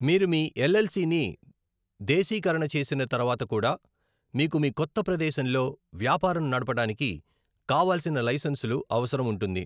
మీరు మీ L L C ని దేశీకరణ చేసిన తరువాత కూడా మీకు మీ కొత్త ప్రదేశంలో వ్యాపారం నడపటానికి కావాల్సిన లైసెన్సులు అవసరం ఉంటుంది.